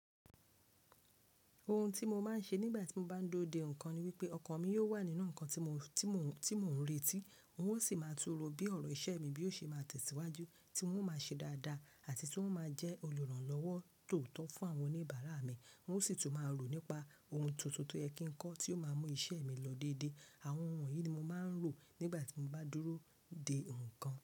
Ohun tí mo máa ń ṣe nígbà tí mo bá ń dúró de nǹkan ni wípé ọkàn mi yóò wà nínú nǹkan tí mò ń retí, wọn ó sì máa tún ro bí ọ̀rọ̀ iṣẹ́ mi bí ó ṣe máa tẹ̀síwájú tí wọ́n ó máa ṣe dáadáa àti tí wọ́n ó máa jẹ́ olùrànlọ́wọ́ tóọ́tọ́ fún àwọn oníbàárà mi, wọ́n ó sì tún máa rò nípa ohun tuntun tó yẹ kí n kọ tí ó máa mú iṣẹ́ mi lọ déédé. Àwọn ohun yìí ni mo máa ń rò nígbà tí mo bá dúró de nǹkan.